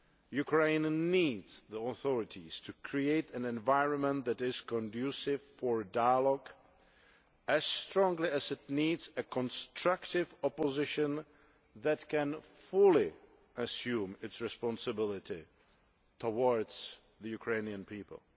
Ukraine needs the authorities to create an environment that is conducive to dialogue as strongly as it needs a constructive opposition that can fully assume its responsibility towards the Ukrainian people.